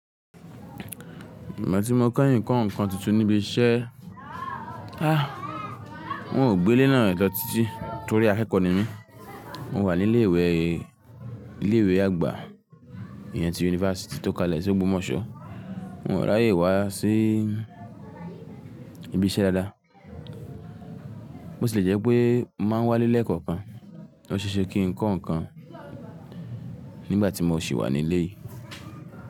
Ìgbà tí mo kọ́ ǹkan ǹkan titun níbi iṣẹ́, a, wọn ò gbé ilé náà lọ títí torí akẹ́kọ̀ọ́ ni mí. Mo wà ní ilé ìwẹ̀, ilé ìwẹ̀ àgbà ìyẹn ti yunifásítì tó kalẹ̀ sí Ògbómọ̀ṣọ́. Wọn ò ráyè wá sí ibi iṣẹ́ dáadáa. Bó ti le jẹ́ pé máa wá nílé kankan. Ó ṣe é ṣe kí ń kọ́ ǹkan nígbà tí mo sì wà nílé yìí.